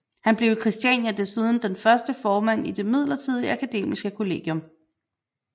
Han blev i Christiania desuden den første formand i det midlertidige akademiske kollegium